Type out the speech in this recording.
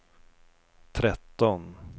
tretton